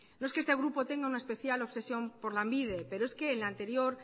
no es que este grupo tenga una especial obsesión por lanbide pero es que en la anterior